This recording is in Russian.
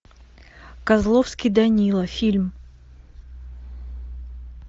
козловский данила фильм